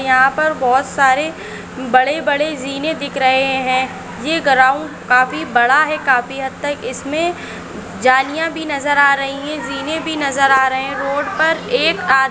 यहा पर बहुत सारे बड़े बड़े जीने दिख रहे है ये ग्राउंड काफी बड़ा है काफी हद तक इस मे जालिया भी नजर आ रही है जीने भी नजर आ रही है रोड पर एक आ--